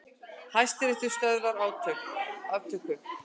Hæstiréttur stöðvar aftöku